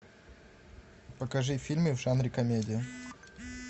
покажи фильмы в жанре комедия